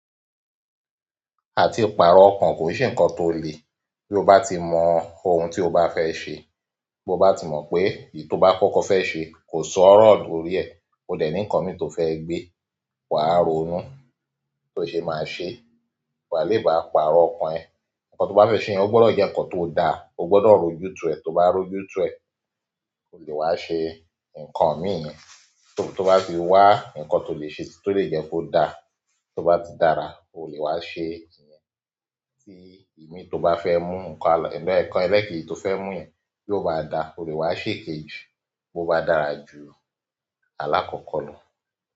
Àti pàrọ̀ ọkàn kò se ǹkan tó le. Bí ó bá ti mọ ohun tí ó bá fẹ́ ṣe, bí ó bá ti mọ pé èyí tó bá kọ́kọ́ fẹ́ ṣe kò sọ́rọ̀ torí ẹ̀, ó dè ní ǹkan mí to fẹ́ gbe, wà ronú bí ó ṣe máa ṣe. Wá le bá pàrọ̀ ọ̀kan e. Ǹkan tó bá fẹ́ ṣe yẹn ó gbọdọ̀ jẹ́ ǹkan tó daa, ó gbọdọ̀ roju tu e. Tó bá roju tu e, wá ṣe ǹkan mì yen. Tó bá fi wá ǹkan tó lè ṣe si tó lè jẹ́ kó da, tó bá ti dára, o lè wá ṣe ìyẹn. Tí imi tó bá fẹ́ mú ǹkan, ǹkan ẹlẹ́kẹ́ji tó fẹ́ mú yẹn bí ó bá da, o lè wá ṣe ikejì. Bí ó bá dárá ju alákọ̀kọ́ lọ.